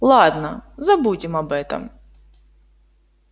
ладно забудем об этом